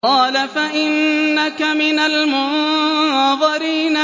قَالَ فَإِنَّكَ مِنَ الْمُنظَرِينَ